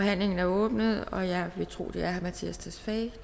forhandlingen er åbnet og jeg tror at det er herre mattias tesfaye